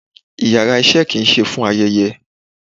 íyarà iṣẹ ki n se fún ayẹyẹ